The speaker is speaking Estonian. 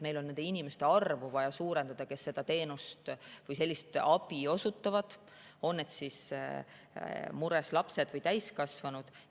Meil on vaja suurendada nende inimeste arvu, kes seda teenust või sellist abi osutavad kas siis mures lastele või täiskasvanutele.